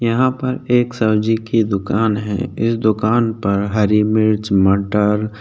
यहाँ पर एक सब्जी की दुकान है इस दुकान पर हरी मिर्च मटर --